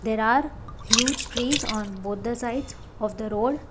There are huge trees on both the sides of the road.